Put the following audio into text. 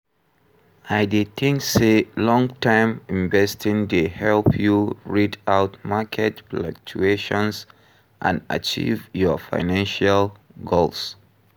I dey think say long-term investing dey help you rid out market fluctuations and achieve your financial goals.